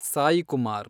Saikumar